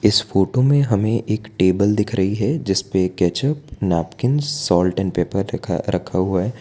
इस फोटो में हमें एक टेबल दिख रही है जिसपे ketchup napkin salt and pepper रखा रखा हुआ है।